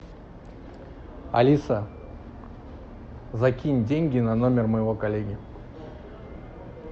алиса закинь деньги на номер моего коллеги